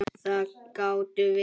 Það gátum við.